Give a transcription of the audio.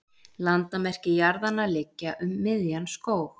Landamerki jarðanna liggja um miðjan skóg.